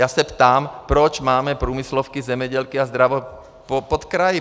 Já se ptám, proč máme průmyslovky, zemědělky a zdravotky pod kraji?